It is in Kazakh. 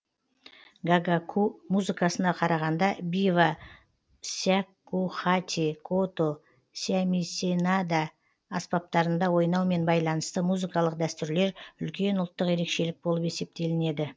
гагаку музыкасына қарағанда бива сякухати кото сямисенада аспаптарында ойнаумен байланысты музыкалық дәстүрлер үлкен ұлттық ерекшелік болып есептелінеді